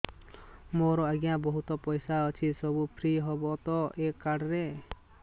ମୋର ଆଜ୍ଞା ବହୁତ ପଇସା ଅଛି ସବୁ ଫ୍ରି ହବ ତ ଏ କାର୍ଡ ରେ